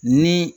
Ni